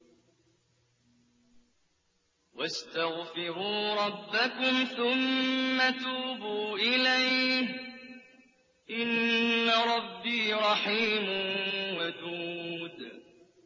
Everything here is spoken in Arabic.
وَاسْتَغْفِرُوا رَبَّكُمْ ثُمَّ تُوبُوا إِلَيْهِ ۚ إِنَّ رَبِّي رَحِيمٌ وَدُودٌ